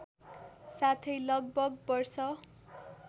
साथै लगभग वर्ष